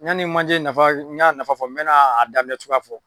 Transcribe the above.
yani manje nafa n y'a nafa fɔ n bɛ na adaminɛ cogoya fɔ.